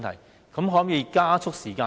當局可否縮短時間呢？